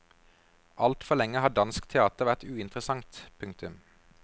Altfor lenge har dansk teater vært uinteressant. punktum